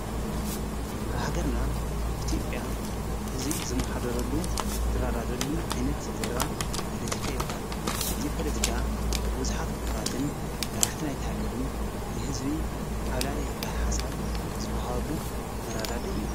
ኣብ ሃገርና ኢትዮጵያ ሕዚ ዝመሓደረሉ ዝራዳደሉን ዓይነት ዘርባ ፖለቲካ ይበሃል እዙይ ፖለቲካ ብቡዝሓት ምሁራትን መራሕቲ ናይቲ ሃገርን ንህዝቢ ዓብላልይ ዝብሃል ሓሳብ ዝብሃወሉ መራዳድኢ እዩ።